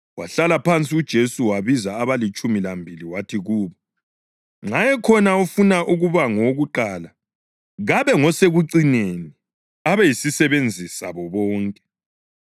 Wahlala phansi uJesu wabiza abalitshumi lambili wathi kubo, “Nxa ekhona ofuna ukuba ngowokuqala, kabe ngosekucineni, abe yisisebenzi sabo bonke.”